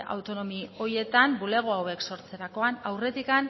autonomia horietan bulego hauek sortzerakoan aurretik